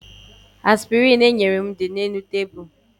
Aspịrịn enyere m dị n'elu nkwago.